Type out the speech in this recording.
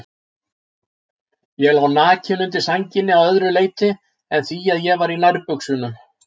Ég lá nakinn undir sænginni að öðru leyti en því að ég var í nærbuxunum.